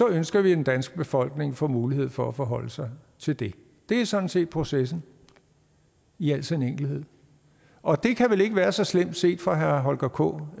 ønsker vi at den danske befolkning får mulighed for at forholde sig til det det er sådan set processen i al sin enkelhed og det kan vel ikke være så slemt set fra herre holger k